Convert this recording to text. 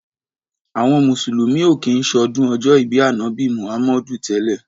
Àwọn mùsùlùmí ò kí ń ṣọdún ọjọ́ ìbí Ànábì Muhammadu tẹ́lẹ̀.